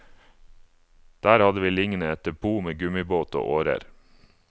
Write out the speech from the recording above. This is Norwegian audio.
Der hadde vi liggende et depot med gummibåt og årer.